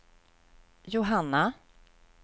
Johanna